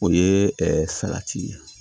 O ye salati ye